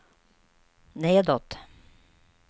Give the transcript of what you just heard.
nedåt